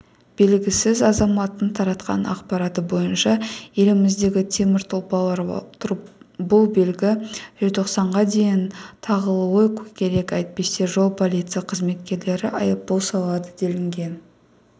белгісіз азаматтың таратқан ақпараты бойынша еліміздегі темір тұлпарларға бұл белгі желтоқсанға дейін тағылуы керек әйтпесе жол полиция қызметкерлері айыппұл салады делінген